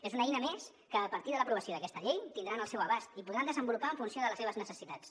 és una eina més que a partir de l’aprovació d’aquesta llei tindran al seu abast i podran desenvolupar en funció de les seves necessitats